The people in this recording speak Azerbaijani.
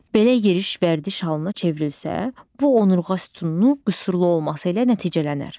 Belə yeriş vərdiş halına çevrilsə, bu onurğa sütununu qüsurlu olması ilə nəticələnər.